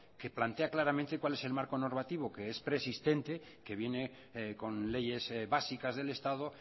que plantea claramente cuál es el marco normativo que es preexistente que viene con leyes básicas del estado